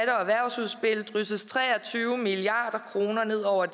erhvervsudspil drysses tre og tyve milliard kroner ned over